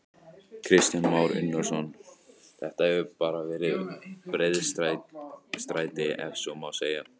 Kristján Már Unnarsson: Þetta hefur bara verið breiðstræti ef svo má segja?